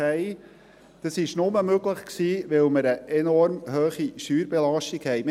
Dies war nur möglich, weil wir eine enorm hohe Steuerbelastung haben.